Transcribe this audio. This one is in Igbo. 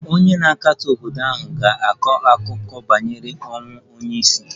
Onye na-akatọ obodo ahụ ga-akọ akụkọ banyere ọnwụ onye isi